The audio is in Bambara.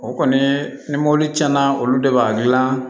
O kɔni ni mɔbili tiɲɛna olu de b'a dilan